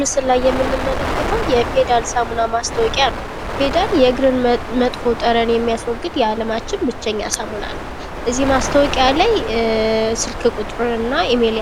ምስሉ ላይ የምንመለከተው የፊዳል ሳሙና ማስታወቂያ ነው ።ፌዳል የእግርን መጥፎ ጠረን የሚያጠፋ ሳሙና ነው። እዚህ ሳሙና ላይ